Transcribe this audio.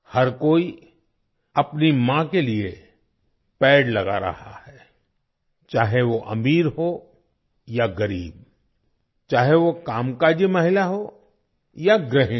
हर कोई अपनी माँ के लिए पेड़ लगा रहा है - चाहे वो अमीर हो या गरीब चाहे वो कामकाजी महिला हो या गृहिणी